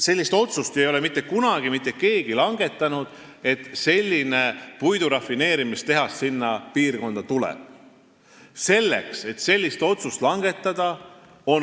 Sellist otsust, et selline puidurafineerimistehas sinna piirkonda tuleb, ei ole mitte kunagi keegi langetanud.